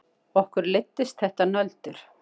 Okkur leiddist þetta nöldur.